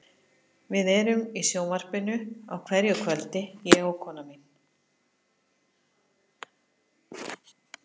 Við erum í sjónvarpinu á hverju kvöldi, ég og konan mín.